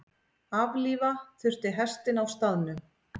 Aflífa þurfti hestinn á staðnum.